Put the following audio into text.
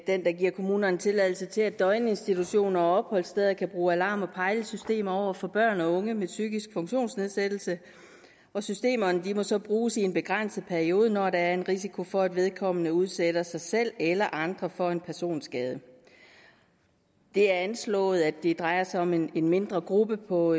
den der giver kommunerne tilladelse til at døgninstitutioner og opholdssteder kan bruge alarm og pejlesystemer over for børn og unge med psykisk funktionsnedsættelse og systemerne må så bruges i en begrænset periode når der er en risiko for at vedkommende udsætter sig selv eller andre for en personskade det er anslået at det drejer sig om en mindre gruppe på